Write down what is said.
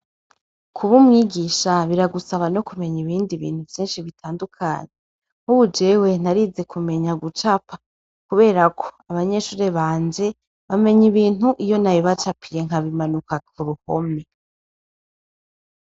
Kub' umwigisha biragusaba no kumeny' ibindi bintu vyinshi bitandukanye, nkubu jewe narize kumenya gucapa, kuberak' abanyeshure banje bameny 'ibint' iyo nabibacapiye nkabimanika kuruhome.